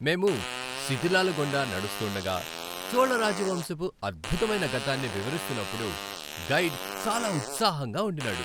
మేము శిధిలాల గుండా నడుస్తుండగా చోళ రాజవంశపు అద్భుతమైన గతాన్ని వివరిస్తున్నప్పుడు గైడ్ చాలా ఉత్సాహంగా ఉండినాడు.